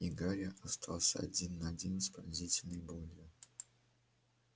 и гарри остался один на один с пронзительной болью